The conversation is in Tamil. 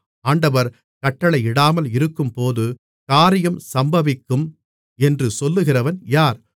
ஆண்டவர் கட்டளையிடாமல் இருக்கும்போது காரியம் சம்பவிக்கும் என்று சொல்லுகிறவன் யார்